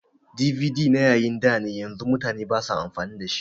DVD na yayin dane yanzu mutane basa amfani da shi